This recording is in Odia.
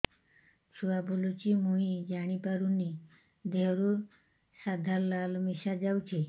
ଛୁଆ ବୁଲୁଚି ମୁଇ ଜାଣିପାରୁନି ଦେହରୁ ସାଧା ଲାଳ ମିଶା ଯାଉଚି